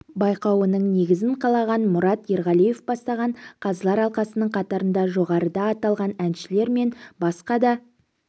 байқауының негізін қалаған мұрат ерғалиев бастаған қазылар алқасының қатарында жоғарыда аталған әншілер мен басқа да